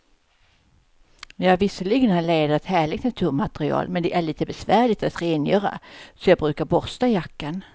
Visserligen är läder ett härligt naturmaterial, men det är lite besvärligt att rengöra, så jag brukar borsta jackan.